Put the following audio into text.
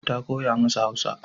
Ta koya masa Hausa.